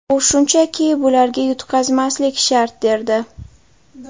U shunchaki bularga yutqazmaslik shart derdi.